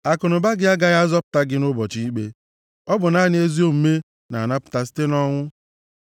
Akụnụba gị agaghị azọpụta gị nʼụbọchị ikpe; ọ bụ naanị ezi omume na-anapụta site nʼọnwụ.